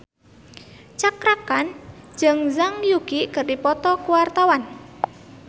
Cakra Khan jeung Zhang Yuqi keur dipoto ku wartawan